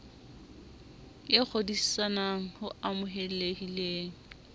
e kgodisan g ho amohelehileng